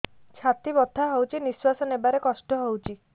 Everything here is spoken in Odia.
ଛାତି ବଥା ହଉଚି ନିଶ୍ୱାସ ନେବାରେ କଷ୍ଟ ହଉଚି